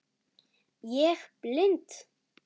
Ég blind